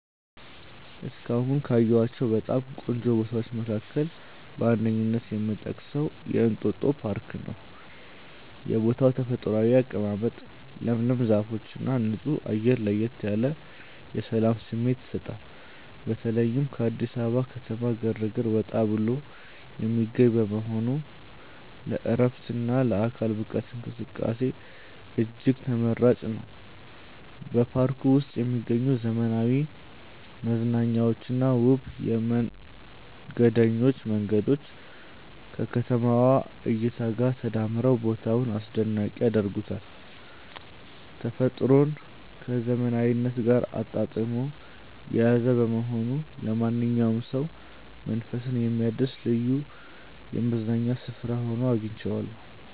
እስካሁን ካየኋቸው በጣም ቆንጆ ቦታዎች መካከል በአንደኝነት የምጠቀሰው የእንጦጦ ፓርክን ነው። የቦታው ተፈጥሯዊ አቀማመጥ፣ ለምለም ዛፎችና ንጹህ አየር ለየት ያለ የሰላም ስሜት ይሰጣል። በተለይም ከአዲስ አበባ ከተማ ግርግር ወጣ ብሎ የሚገኝ በመሆኑ ለዕረፍትና ለአካል ብቃት እንቅስቃሴ እጅግ ተመራጭ ነው። በፓርኩ ውስጥ የሚገኙት ዘመናዊ መዝናኛዎችና ውብ የመንገደኞች መንገዶች ከከተማዋ እይታ ጋር ተዳምረው ቦታውን አስደናቂ ያደርጉታል። ተፈጥሮን ከዘመናዊነት ጋር አጣጥሞ የያዘ በመሆኑ ለማንኛውም ሰው መንፈስን የሚያድስ ልዩ የመዝናኛ ስፍራ ሆኖ አግኝቼዋለሁ።